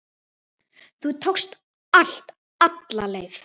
Þú tókst allt alla leið.